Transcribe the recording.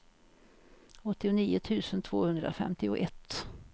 åttionio tusen tvåhundrafemtioett